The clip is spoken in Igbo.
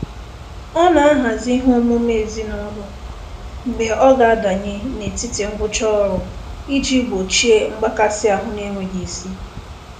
Ọ na-ahazi ihe omume ezinụlọ mgbe ọ ga adanye n'etiti ngwụcha ọrụ iji gbochie mgbakasịahụ n'enweghị isi.